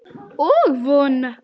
Og vona.